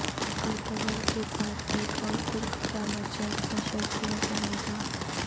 Ertugrul کے بعد ایک اور ترک ڈرامہ جلد نشر کیا جائے گا